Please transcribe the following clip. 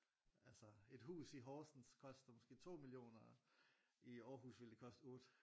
Altså et hus i Horsens koster måske 2 millioner i Aarhus ville det koste 8